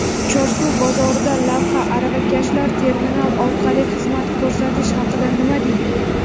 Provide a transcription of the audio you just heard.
Chorsu bozoridan lavha: aravakashlar terminal orqali xizmat ko‘rsatish haqida nima deydi?.